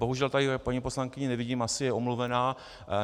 Bohužel tady paní poslankyni nevidím, asi je omluvená.